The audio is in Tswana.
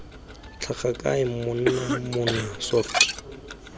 tlhaga kae monna mmona soft